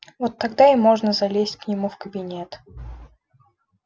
вот тогда и можно залезть к нему в кабинет